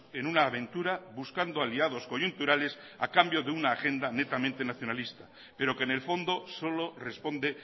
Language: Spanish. en una aventura buscando aliados coyunturales a cambio de una agenda netamente nacionalista pero que en el fondo solo responde